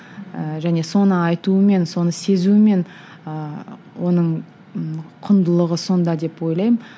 ііі және соны айтуымен соны сезуімен ыыы оның құндылығы сонда деп ойлаймын